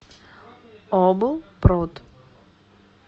облпрод